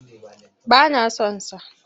Ba na son sa.